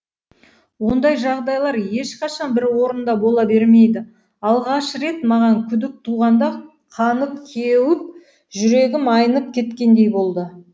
ондай жағдайлар ешқашан бір орында бола бермейді алғаш рет маған күдік туғанда қанып кеуіп жүрегім айнып кеткендей болды